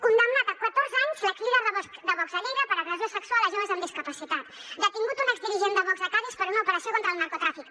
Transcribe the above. condemnat a catorze anys l’exlíder de vox a lleida per agressió sexual a joves amb discapacitat detingut un exdirigent de vox a cadis per una operació contra el narcotràfic